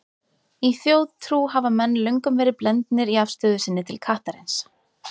Í þjóðtrú hafa menn löngum verið blendnir í afstöðu sinni til kattarins.